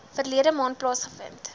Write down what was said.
verlede maand plaasgevind